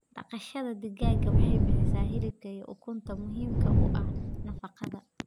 Dhaqashada digaaga waxay bixisaa hilibka iyo ukunta muhiimka u ah nafaqada.